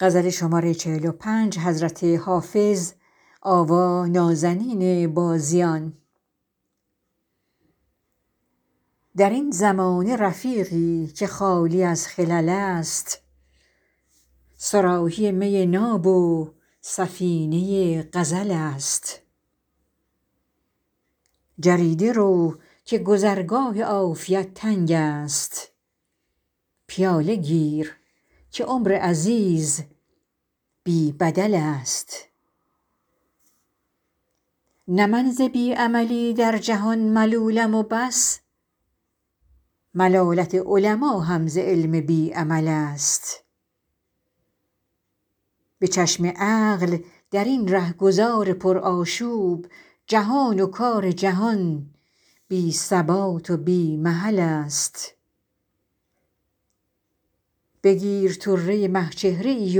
در این زمانه رفیقی که خالی از خلل است صراحی می ناب و سفینه غزل است جریده رو که گذرگاه عافیت تنگ است پیاله گیر که عمر عزیز بی بدل است نه من ز بی عملی در جهان ملولم و بس ملالت علما هم ز علم بی عمل است به چشم عقل در این رهگذار پرآشوب جهان و کار جهان بی ثبات و بی محل است بگیر طره مه چهره ای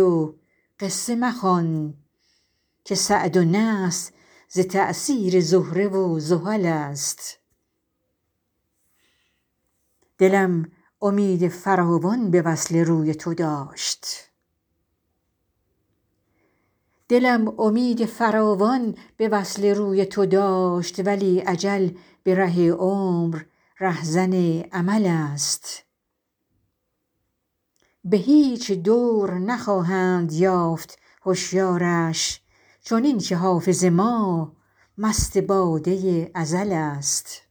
و قصه مخوان که سعد و نحس ز تأثیر زهره و زحل است دلم امید فراوان به وصل روی تو داشت ولی اجل به ره عمر رهزن امل است به هیچ دور نخواهند یافت هشیارش چنین که حافظ ما مست باده ازل است